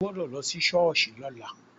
O gbọ́dọ̀ lọ sí ṣọ́ọ̀ṣì lọ́la.